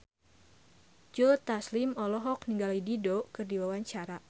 Joe Taslim olohok ningali Dido keur diwawancara